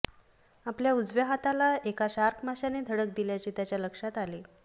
आपल्या उजव्या हाताला एका शार्क माशाने धडक दिल्याचे त्याच्या लक्षात आले